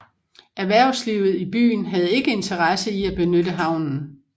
Erhvervslivet i byen havde ikke interesse i at benytte havnen